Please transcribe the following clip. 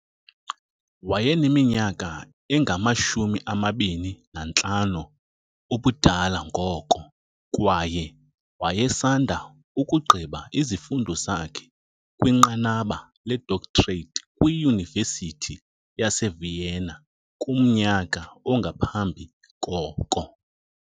Wayeneminyaka engama-25 ubudala ngoko, kwaye wayesanda ukugqiba izifundo zakhe kwinqanaba ledoctorate kwiUniversity yaseVienna kumnyaka ongaphambi koko.